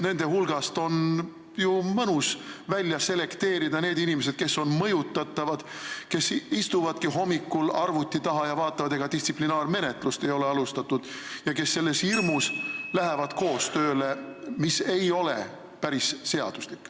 Nende hulgast on ju mõnus välja selekteerida need inimesed, kes on mõjutatavad, kes istuvadki hommikul arvuti taha ja vaatavad, ega ei ole distsiplinaarmenetlust alustatud, ja kes selles hirmus lähevad koostööle, mis ei ole päris seaduslik.